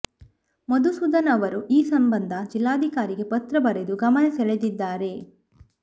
ಮಧುಸೂದನ್ ಅವರು ಈ ಸಂಬಂಧ ಜಿಲ್ಲಾಧಿಕಾರಿಗೆ ಪತ್ರ ಬರೆದು ಗಮನ ಸೆಳೆದಿದ್ದಾರೆ